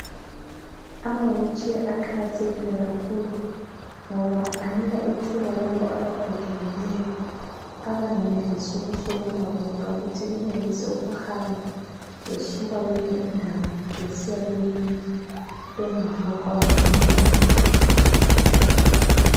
Amawheel chair aqakathekile kakhulu ngoba anika ithuba laba abagogekileyo bengenelisi ukusukuma bodwa ukuthi benelise ukuhamba besuka kwenye indawo besiya kweyinye bengafuqwa ngomunye umuntu.